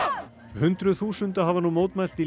hundruð þúsunda hafa nú mótmælt í